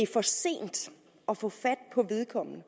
for sent at få fat på vedkommende det